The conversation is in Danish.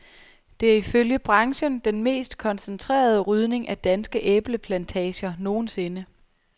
Det er ifølge branchen den mest koncentrerede rydning af danske æbleplantager nogensinde.